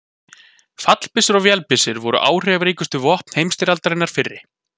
Fallbyssur og vélbyssur voru áhrifaríkustu vopn heimsstyrjaldarinnar fyrri.